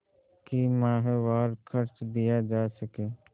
कि माहवार खर्च दिया जा सके